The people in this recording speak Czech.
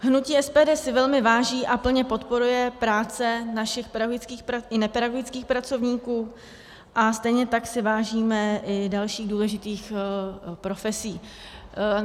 Hnutí SPD si velmi váží a plně podporuje práci našich pedagogických i nepedagogických pracovníků a stejně tak si vážíme i dalších důležitých profesí.